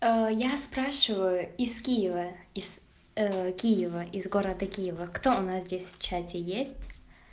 я спрашиваю из киева из киева из города киева кто у нас здесь в чате есть